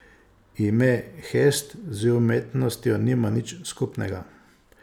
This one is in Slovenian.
Ime Hest z umetnostjo nima nič skupnega.